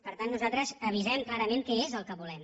per tant nosaltres avisem clarament què és el que volem